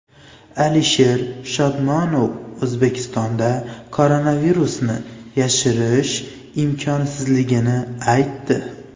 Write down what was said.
Alisher Shodmonov O‘zbekistonda koronavirusni yashirish imkonsizligini aytdi.